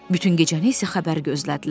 Bütün gecəni isə xəbər gözlədilər.